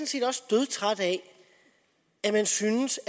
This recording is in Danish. set også dødtræt af at man synes